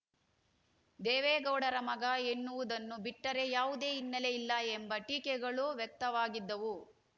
ದೇವೇಗೌಡರ ಮಗ ಎನ್ನುವುದನ್ನು ಬಿಟ್ಟರೆ ಯಾವುದೇ ಹಿನ್ನೆಲೆ ಇಲ್ಲ ಎಂಬ ಟೀಕೆಗಳು ವ್ಯಕ್ತವಾಗಿದ್ದವು